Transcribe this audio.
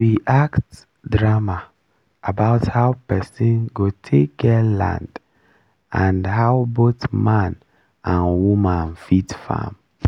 we act drama about how person go take get land and how both man and woman fit farm